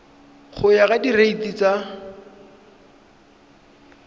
go ya ka direiti tsa